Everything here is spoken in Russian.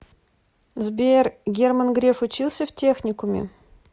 сбер герман греф учился в техникуме